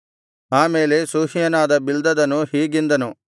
ಆ ಮೇಲೆ ಶೂಹ್ಯನಾದ ಬಿಲ್ದದನು ಹೀಗೆಂದನು